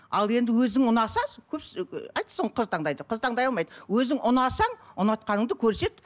ал енді өзің ұнаса қыз таңдайды қыз таңдай алмайды өзің ұнасаң ұнатқаныңды көрсет